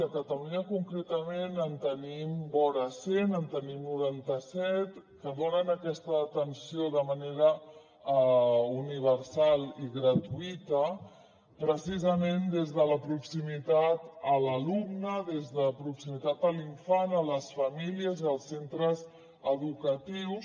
a catalunya concretament en tenim vora cent en tenim noranta set que donen aquesta atenció de manera universal i gratuïta precisament des de la proximitat a l’alumne des de la proximitat a l’infant a les famílies i als centres educatius